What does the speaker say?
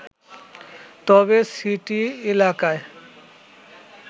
তবে সিটি এলাকায়